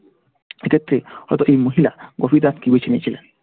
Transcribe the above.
সেক্ষেত্রে হয়তো এই মহিলা গভীর রাতকে বেছে নিয়েছিলেন।